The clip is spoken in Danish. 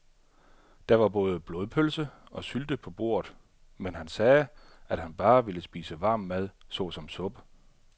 Der var både blodpølse og sylte på bordet, men han sagde, at han bare ville spise varm mad såsom suppe.